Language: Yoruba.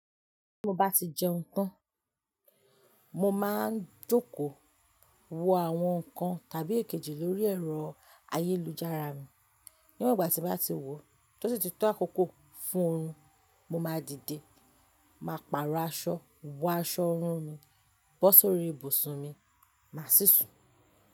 Bí mo bá ti jẹun tán, mo máa ń jókòó wo àwọn ǹkan tàbí èkejì lórí ẹ̀rọ ayélujára mi. Níwon igba tí mo bá ti wò, tó sì tí tó àkókò fún orun, mo máa dìde, máa pàrọ̀ aṣọ, wọ aṣọ oọrùn mi, bọ́ sórí ibùsùn mi máa sì sùn.